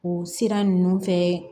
O sira ninnu fɛ